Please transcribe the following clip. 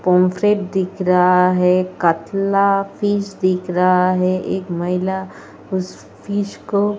दिख रहा है। कटला फिश दिख रहा है। एक महिला उस फिश को --